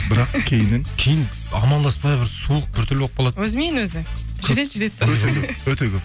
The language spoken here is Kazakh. бірақ кейіннен кейін амандаспай бір суық біртүрлі болып қалады өзімен өзі жүреді жүреді де өте көп